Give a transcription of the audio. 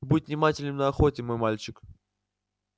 будь внимателен на охоте мой мальчик